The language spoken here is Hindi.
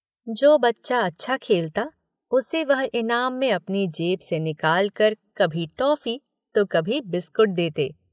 जो बच्चा अच्छा खेलता उसे वह इनाम में अपनी जेब से निकालकर कभी टॉफ़ी तो कभी बिस्कुट देते।